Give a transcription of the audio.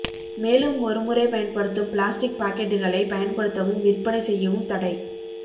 மேலும்ஒரு முறை பயன்படுத்தும் பிளாஸ்டிக் பாக்கெட்டுகளை பயன்படுத்தவும் விற்பனை செய்யவும் தடை